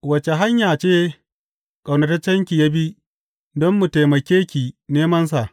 Wace hanya ce ƙaunataccenki ya bi, don mu taimake ki nemansa.